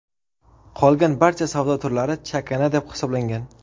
Qolgan barcha savdo turlari chakana deb hisoblangan .